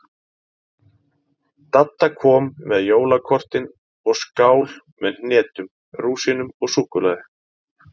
Dadda kom með jólakortin og skál með hnetum, rúsínum og súkkulaði.